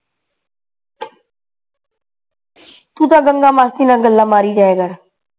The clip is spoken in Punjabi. ਤੂੰ ਤਾਂ ਗੰਗਾ ਮਾਸੀ ਨਾਲ ਗੱਲਾਂ ਮਾਰੀ ਜਾਇਆ ਕਰ